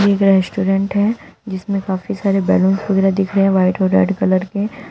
एक रेस्टोरेंट है जिसमें काफी सारे बैलूंस वगैरा दिख रहे हैं व्हाइट और रेड कलर के।